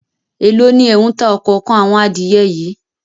Èló ni ẹ̀ ń ta òkòókan àwọn adìẹ yìí?